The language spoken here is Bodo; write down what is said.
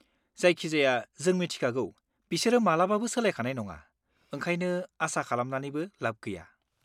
जायखिजाया, जों मिथिखागौ बिसोरो मालाबाबो सोलायखानाय नङा, ओंखायनो आसा खालामनानैबो लाब गैया।